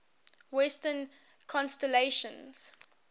western constellations